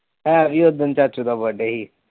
ਹੈ ਵੀ ਉਦਨ ਚਾਚੇ ਦਾ ਬਡੇ ਸੀ।